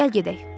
Gəl gedək.